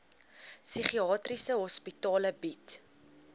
psigiatriese hospitale bied